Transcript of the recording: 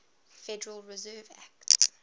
federal reserve act